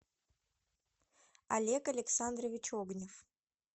олег александрович огнев